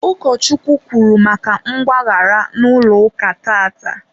ukochukwu kwuru maka mgbaghara n'ụlọ ụka tata.